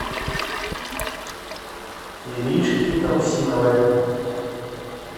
иришки русиновой